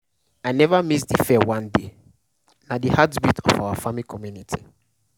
i never miss de fair one day na de heartbeat of our farming community.